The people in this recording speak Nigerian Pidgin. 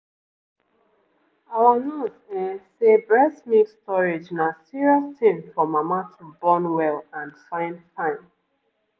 our nurse ehm say breast milk storage na serious thing for mama to born well and fine fine.